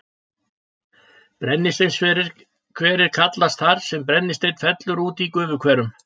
Brennisteinshverir kallast þar sem brennisteinn fellur út í gufuhverum.